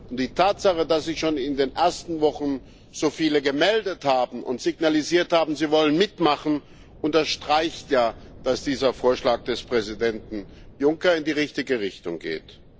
Und die Tatsache, dass sich schon in den ersten Wochen so viele gemeldet haben und signalisiert haben, sie wollen mitmachen, unterstreicht ja, dass dieser Vorschlag des Präsidenten Juncker in die richtige Richtung geht.